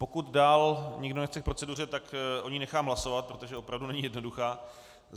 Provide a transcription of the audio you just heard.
Pokud dál nikdo nechce k proceduře, tak o ní nechám hlasovat, protože opravdu není jednoduchá.